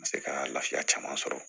Se ka lafiya caman sɔrɔ